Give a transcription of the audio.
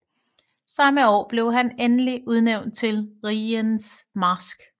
Samme år blev han endelig udnævnt til Rigens Marsk